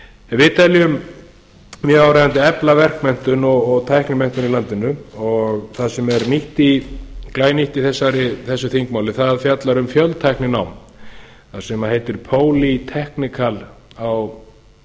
við teljum mjög áríðandi að efla verkmenntun og tæknimenntun í landinu og það sem er glænýtt í þessu þingmáli er að það fjallar um fjöltækninám það sem heitir polytechnic á